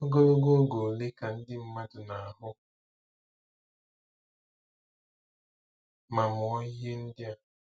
Ogologo oge ole ka ndị mmadụ na-ahụ ma mụọ ihe ndị a?